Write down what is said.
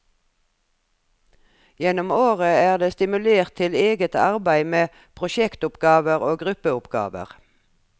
Gjennom året er det stimulert til eget arbeid med prosjektoppgaver og gruppeoppgaver.